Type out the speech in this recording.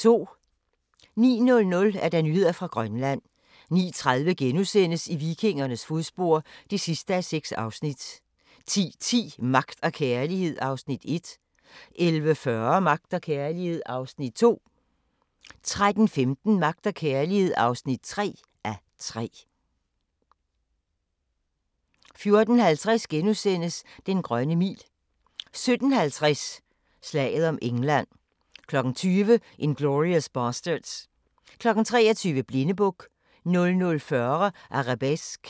09:00: Nyheder fra Grønland 09:30: I vikingernes fodspor (6:6)* 10:10: Magt og kærlighed (1:3) 11:40: Magt og kærlighed (2:3) 13:15: Magt og kærlighed (3:3) 14:50: Den grønne mil * 17:50: Slaget om England 20:00: Inglourious Basterds 23:00: Blindebuk 00:40: Arabesque